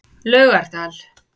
Laugardal